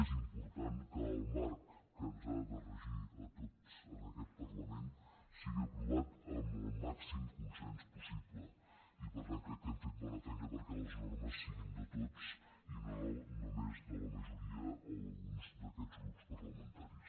és important que el marc que ens ha de regir a tots en aquest parlament sigui aprovat amb el màxim consens possible i per tant crec que hem fet bona feina perquè les normes siguin de tots i no només de la majoria o d’alguns d’aquests grups parlamentaris